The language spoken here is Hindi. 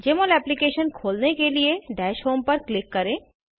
जमोल एप्लीकेशन खोलने के लिए दश होम पर क्लिक करें